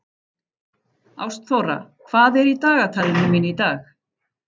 Ástþóra, hvað er í dagatalinu mínu í dag?